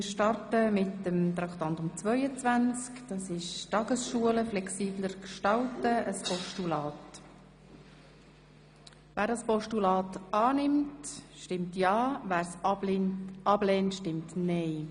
Wer das Postulat von Traktandum 22, Tagesschulen flexibler gestalten, annehmen will, stimmt ja, wer es ablehnt, stimmt nein.